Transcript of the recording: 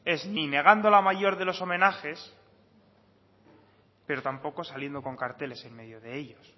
es ni negando la mayor de los homenajes pero tampoco saliendo con carteles en medio de ellos